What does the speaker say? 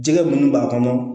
Jɛgɛ minnu b'a kɔnɔ